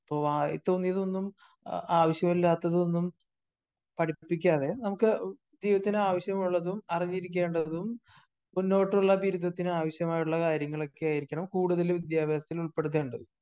അപ്പോ വായിതോന്നിയാതൊന്നും, ആവശ്യമില്ലാത്തതൊന്നും പടിപ്പിക്കാതെ നമുക്ക് ജീവിതത്തിന് ആവശ്യമുള്ളതും അറിഞ്ഞിരിക്കേണ്ടതും മൂന്നോട്ടുള്ള ബിരുദത്തിന് അവശ്യമായിട്ടുള്ള കാര്യങ്ങൾ ഒക്കെയാണ് കൂടുതൽ വിദ്യാഭ്യാസത്തിൽ ഉൾപ്പെടുത്തേണ്ടത്.